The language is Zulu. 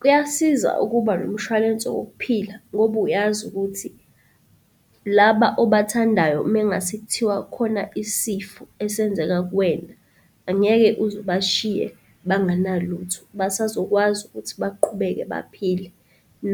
Kuyasiza ukuba nomshwalense wokuphila ngoba uyazi ukuthi laba obathandayo mengase kuthiwa kukhona isifo esenzeka kuwena, angeke uze ubashiye banganalutho, basazokwazi ukuthi baqhubeke, baphile.